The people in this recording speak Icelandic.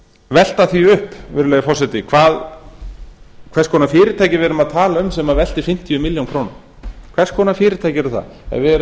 velta því upp virðulegi forseti hvers konar fyrirtæki við erum að tala um sem veltir fimmtíu milljónir króna hvers konar fyrirtæki eru á ef við